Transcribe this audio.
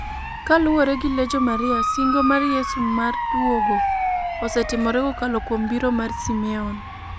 Kaluwore gi Legio Maria singo mar Yesu mar duogo osetimore kokalo kuom biro mar Simeon.